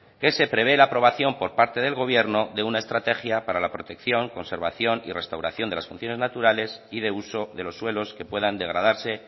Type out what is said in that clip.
que se prevé la aprobación por parte del gobierno de una estrategia para la protección conservación y restauración de las funciones naturales y de uso de los suelos que puedan degradarse